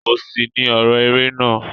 Òṣì ni ọrọ eré náà.